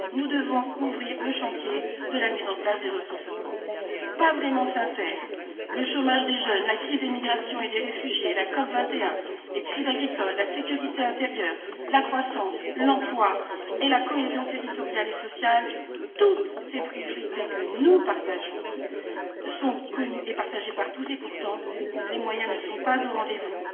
Nous devons ouvrir le chantier de la mise en place des ressources propres. Pas vraiment sincère le chômage des jeunes, la crise des migrations et des réfugiés, la COP 21, les crises agricoles, la sécurité intérieure, la croissance, l'emploi et la cohésion territoriale et sociale, toutes ces priorités sont connues et partagées par tous et, pourtant, les moyens ne sont pas au rendez vous.